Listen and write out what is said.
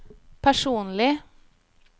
personlig